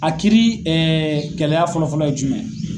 A kiiri gɛlɛya fɔlɔfɔlɔ ye jumɛn ye.